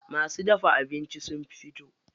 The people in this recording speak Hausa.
Masu dafa abincin sun fito.